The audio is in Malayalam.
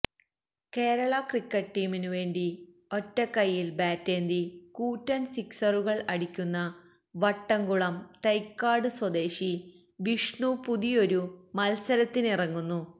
കേരള ക്രിക്കറ്റ് ടീമിനുവേണ്ടി ഒറ്റക്കൈയിൽ ബാറ്റേന്തി കൂറ്റൻ സിക്സറുകൾ അടിക്കുന്ന വട്ടംകുളം തൈക്കാട് സ്വദേശി വിഷ്ണു പുതിയൊരു മത്സരത്തിനിറങ്ങുന്നു